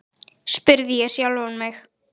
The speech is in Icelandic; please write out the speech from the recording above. spurði ég sjálfan mig.